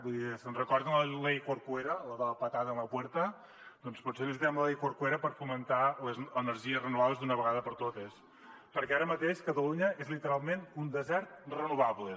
vull dir se’n recorden de la ley corcueradoncs potser necessitem la ley corcuera per fomentar les energies renovables d’una vegada per totes perquè ara mateix catalunya és literalment un desert renovable